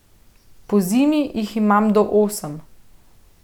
Pozimi jih imam do osem.